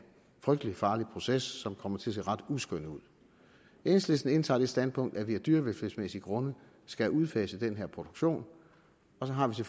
frygtelig farlig proces som kommer til at se ret uskøn ud enhedslisten indtager det standpunkt at vi af dyrevelfærdsmæssige grunde skal udfase den her produktion og så har vi